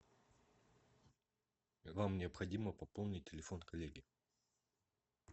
нам необходимо пополнить телефон коллеги